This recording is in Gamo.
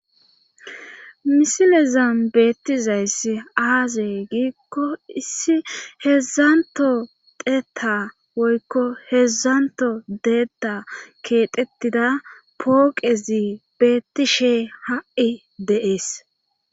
misilezan beettizayss aaze giikko issi heedzdzanto xeeta woykko hedzdzanto deetta keexettida pooqezi beettishe ha'i dee'es